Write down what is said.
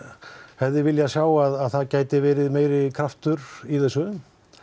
hefði viljað sjá að það gæti verið meiri kraftur í þessu